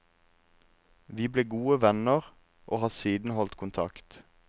Vi ble gode venner, og har siden holdt kontakt.